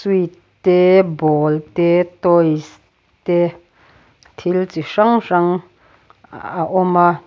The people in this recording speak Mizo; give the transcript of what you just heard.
te ball te toys te thil chi hrang hrang a a awm a.